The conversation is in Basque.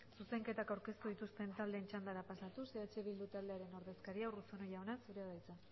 zuzenketak aurkeztu dituzten taldeen txandara pasatuz eh bildu taldearen ordezkaria urruzuno jauna zurea da hitza